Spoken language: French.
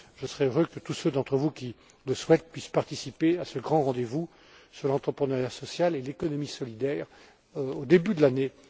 Je serais heureux que tous ceux d'entre vous qui le souhaitent puissent participer à ce grand rendez vous sur l'entrepreneuriat social et l'économie solidaire au début de l'année